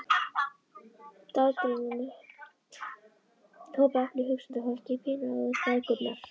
Dagdraumarnir hopa, eplið, hugsandi fólkið, píanóið, bækurnar.